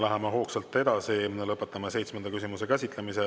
Läheme hoogsalt edasi ja lõpetame seitsmenda küsimuse käsitlemise.